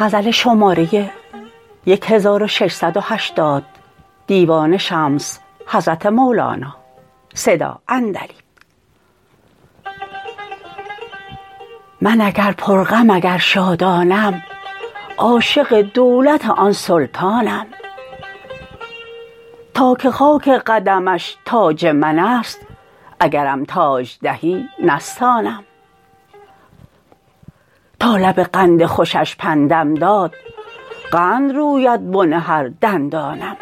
من اگر پرغم اگر شادانم عاشق دولت آن سلطانم تا که خاک قدمش تاج من است اگرم تاج دهی نستانم تا لب قند خوشش پندم داد قند روید بن هر دندانم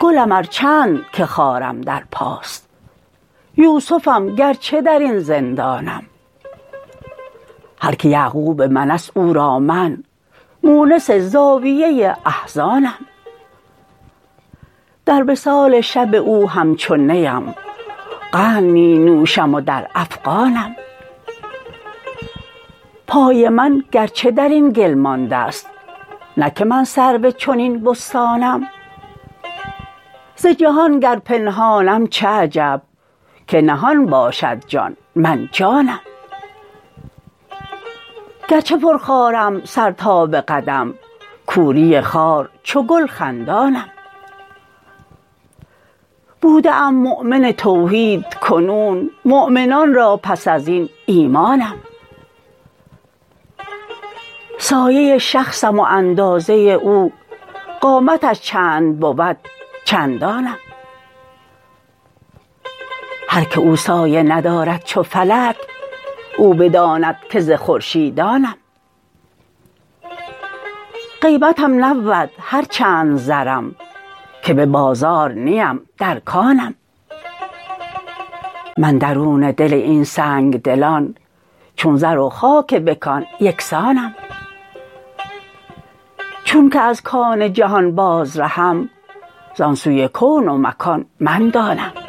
گلم ار چند که خارم در پاست یوسفم گرچه در این زندانم هر کی یعقوب من است او را من مونس زاویه احزانم در وصال شب او همچو نیم قند می نوشم و در افغانم پای من گرچه در این گل مانده ست نه که من سرو چنین بستانم ز جهان گر پنهانم چه عجب که نهان باشد جان من جانم گرچه پرخارم سر تا به قدم کوری خار چو گل خندانم بوده ام مؤمن توحید کنون مؤمنان را پس از این ایمانم سایه شخصم و اندازه او قامتش چند بود چندانم هر کی او سایه ندارد چو فلک او بداند که ز خورشیدانم قیمتم نبود هر چند زرم که به بازار نیم در کانم من درون دل این سنگ دلان چون زر و خاک به کان یک سانم چونک از کان جهان بازرهم زان سوی کون و مکان من دانم